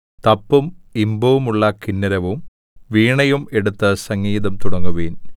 തപ്പും ഇമ്പമുള്ള കിന്നരവും വീണയും എടുത്ത് സംഗീതം തുടങ്ങുവിൻ